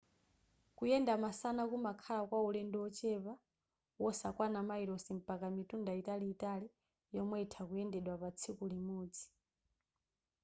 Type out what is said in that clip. kuyenda masana kumakhala kwa ulendo wochepa wosakwana mayilosi mpaka mitunda italiitali yomwe itha kuyendedwa pa tsiku limodzi